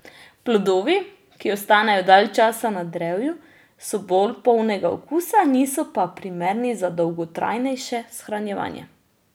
Plodovi, ki ostanejo dalj časa na drevju, so bolj polnega okusa, niso pa primerni za dolgotrajnejše shranjevanje.